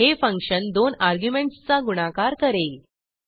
हे फंक्शन दोन अर्ग्युमेंटसचा गुणाकार करेल